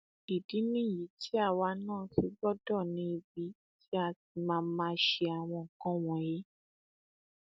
ìdí nìyí tí àwa náà fi gbọdọ ní ibi tí a ti máa máa ṣe àwọn nǹkan wọnyí